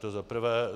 To za prvé.